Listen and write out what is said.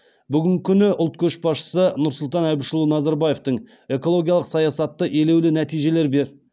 бүгін күні ұлт көшбасшысы нұрсұлтан әбішұлы назарбаевтың экологиялық саясаты елеулі нәтижелер берді